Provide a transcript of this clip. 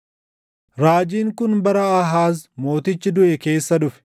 Raajiin kun bara Aahaaz mootichi duʼe keessa dhufe: